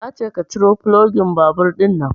Nace ka ciro fulogin babur ɗinnan